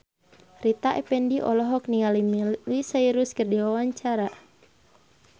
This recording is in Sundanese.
Rita Effendy olohok ningali Miley Cyrus keur diwawancara